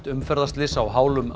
umferðarslys á hálum